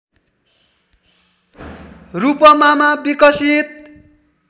रूपमामा विकसित